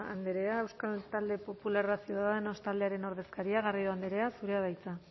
andrea euskal talde popularra ciudadanos taldearen ordezkaria garrido andrea zurea da hitza